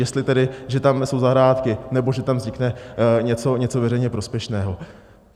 Jestli tedy, že tamhle jsou zahrádky, nebo že tam vznikne něco veřejně prospěšného.